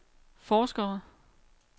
forskere